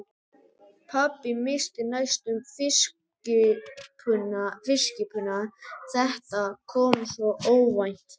Pabbi missti næstum fiskkippuna, þetta kom svo óvænt.